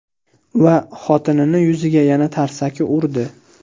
Va xotinini yuziga yana tarsaki urdi.